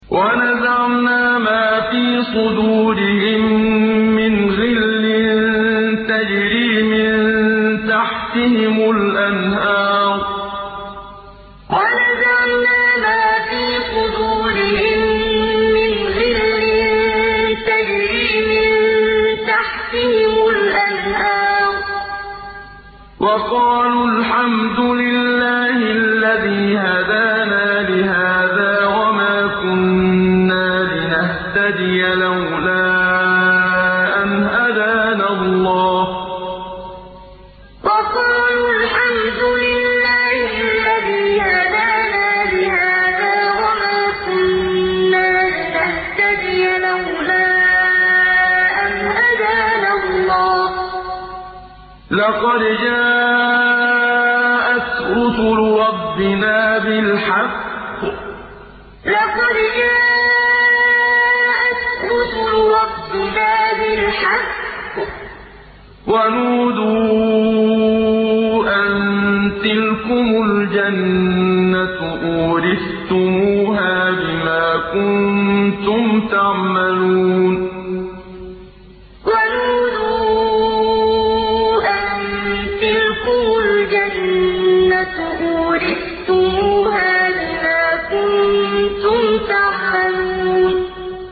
وَنَزَعْنَا مَا فِي صُدُورِهِم مِّنْ غِلٍّ تَجْرِي مِن تَحْتِهِمُ الْأَنْهَارُ ۖ وَقَالُوا الْحَمْدُ لِلَّهِ الَّذِي هَدَانَا لِهَٰذَا وَمَا كُنَّا لِنَهْتَدِيَ لَوْلَا أَنْ هَدَانَا اللَّهُ ۖ لَقَدْ جَاءَتْ رُسُلُ رَبِّنَا بِالْحَقِّ ۖ وَنُودُوا أَن تِلْكُمُ الْجَنَّةُ أُورِثْتُمُوهَا بِمَا كُنتُمْ تَعْمَلُونَ وَنَزَعْنَا مَا فِي صُدُورِهِم مِّنْ غِلٍّ تَجْرِي مِن تَحْتِهِمُ الْأَنْهَارُ ۖ وَقَالُوا الْحَمْدُ لِلَّهِ الَّذِي هَدَانَا لِهَٰذَا وَمَا كُنَّا لِنَهْتَدِيَ لَوْلَا أَنْ هَدَانَا اللَّهُ ۖ لَقَدْ جَاءَتْ رُسُلُ رَبِّنَا بِالْحَقِّ ۖ وَنُودُوا أَن تِلْكُمُ الْجَنَّةُ أُورِثْتُمُوهَا بِمَا كُنتُمْ تَعْمَلُونَ